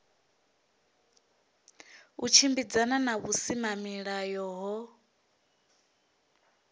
u tshimbidzana na vhusimamilayo ho